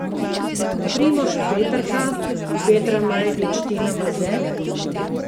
Primož Peterka, Petra Majdič, Tina Maze?